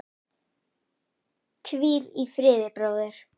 Hvíl í friði, bróðir.